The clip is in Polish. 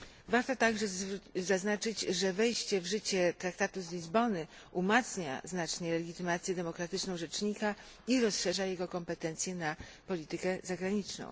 Ważne jest także, aby zaznaczyć, że wejście w życie traktatu z Lizbony umacnia znacznie legitymację demokratyczną rzecznika i rozszerza jego kompetencje na politykę zagraniczną.